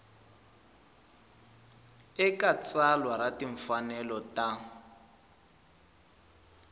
eka tsalwa ra timfanelo ta